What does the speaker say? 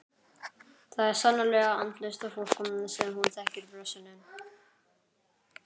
Það er sannarlega andlaust fólk sem hún þekkir blessunin.